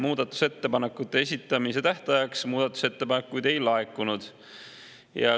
Muudatusettepanekute esitamise tähtajaks muudatusettepanekuid ei laekunud.